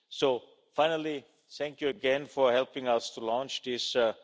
So finally, thank you again for helping us to launch this EUR